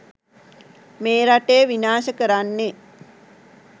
මේ රටේ විනාශ කරන්නේ